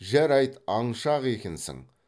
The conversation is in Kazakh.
жарайды аңшы ақ екенсің